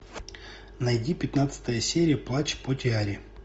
найди пятнадцатая серия плач по тиаре